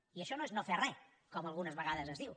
i això no és no fer re com algunes vegades es diu